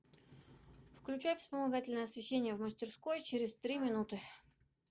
включай вспомогательное освещение в мастерской через три минуты